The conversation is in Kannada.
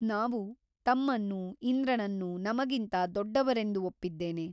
ನಾವು ತಮ್ಮನ್ನೂ ಇಂದ್ರನನ್ನೂ ನಮಗಿಂತ ದೊಡ್ಡವರೆಂದು ಒಪ್ಪಿದ್ದೇನೆ.